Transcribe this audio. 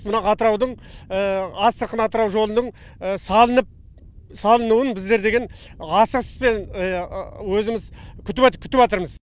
мына атыраудың астрахань атырау жолының салынып салынуын біздер деген асығыспен өзіміз күтіпатырмыз